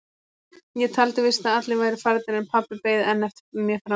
Ég taldi víst að allir væru farnir en pabbi beið enn eftir mér frammi.